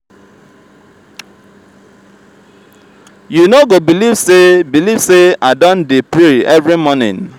you no go believe say believe say i don dey pray every morning.